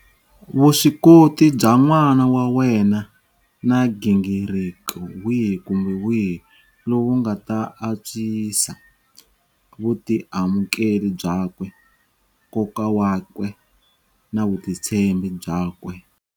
Vuswikoti bya n'wana wa wena na nghingiriko wihi kumbe wihi lowu nga ta antswisa vutiamukeli byakwe, nkoka wakwe na vutitshembi byakwe.